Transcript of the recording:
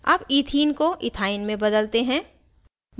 अब ethene को इथाइन में बदलते हैं